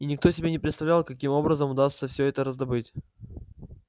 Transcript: и никто себе не представлял каким образом удастся все это раздобыть